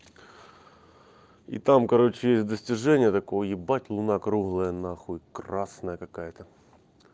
и там короче достижения такого ебать луна круглая нахуй красная какая-то